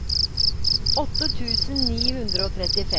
åtte tusen ni hundre og trettifem